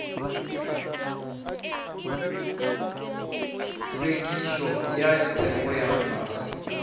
hlwekišo ya theko ya fase